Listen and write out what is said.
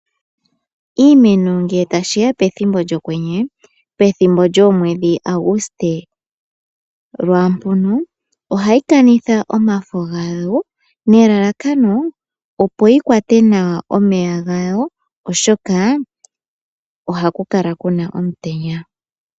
Iimeno ngele tashiya pethimbo lyokwenye, pethimbo lyoomwedhi Aguste lwaampono ohayi kanitha omafo gayo, nelalakano opo yikwate nawa omeya gayo oshoka ohaku kala kuna omutenya.